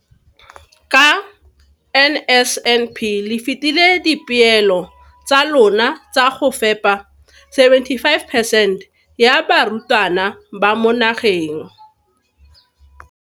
ka NSNP le fetile dipeelo tsa lona tsa go fepa 75 percent ya barutwana ba mo nageng.